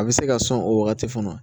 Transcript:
A bɛ se ka sɔn o wagati fana